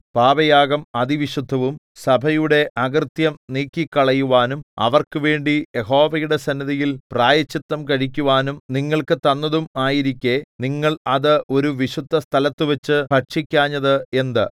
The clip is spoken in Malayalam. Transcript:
പാപയാഗം അതിവിശുദ്ധവും സഭയുടെ അകൃത്യം നീക്കിക്കളയുവാനും അവർക്കുവേണ്ടി യഹോവയുടെ സന്നിധിയിൽ പ്രായശ്ചിത്തം കഴിക്കുവാനും നിങ്ങൾക്ക് തന്നതും ആയിരിക്കെ നിങ്ങൾ അത് ഒരു വിശുദ്ധസ്ഥലത്തു വച്ചു ഭക്ഷിക്കാഞ്ഞത് എന്ത്